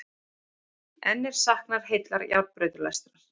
Enn er saknað heillar járnbrautalestar